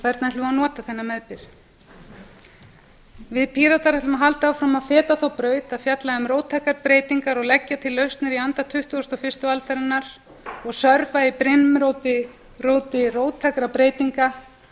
hvernig ætlum við að nota þennan meðbyr við píratar ætlum að halda áfram að feta þá braut að fjalla um róttækar breytingar og leggja til lausnir í anda tuttugasta og fyrstu aldarinnar og sörfa í brimróti róttækra breytinga